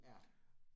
Ja